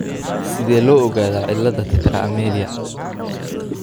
Sidee loo ogaadaa cilada tetra amelia?